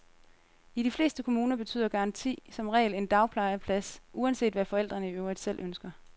I de fleste kommuner betyder garanti som regel en dagplejeplads, uanset hvad forældrene i øvrigt selv ønsker.